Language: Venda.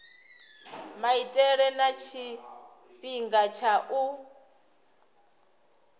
maitele na tshifhinga tsha u